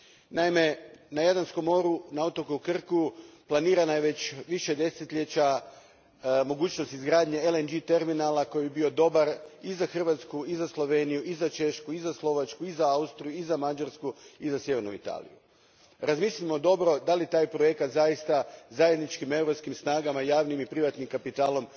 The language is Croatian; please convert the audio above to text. Naime, na Jadranskom moru, na otoku Krku planirana je već više desetljeća mogućnost izgradnje LNG terminala koji bi bio dobar i za Hrvatsku i za Sloveniju i za Češku i za Slovačku i za Austriju i za Mađarsku i za sjevernu Italiju. Razmislimo dobro da li taj projekt zaista zajedničkim europskim snagama, javnim i privatnim kapitalom,